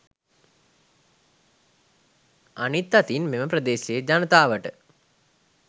අනිත් අතින් මෙම ප්‍රදේශයේ ජනතාවට